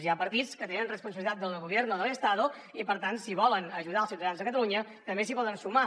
hi ha partits que tenen responsabilitat en el gobierno del estado i per tant si volen ajudar els ciutadans de catalunya també s’hi poden sumar